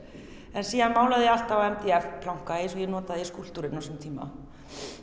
en síðan málaði ég alltaf á mdf planka eins og ég notaði í skúlptúrinn á sínum tíma